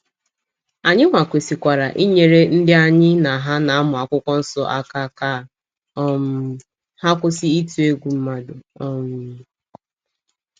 Anyịnwa kwesịkwara inyere ndị anyị na ha na -amụ akwụkwọ nso aka ka um ha kwụsị ịtụ egwu mmadụ. um